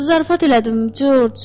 Zarafat elədim, Corc,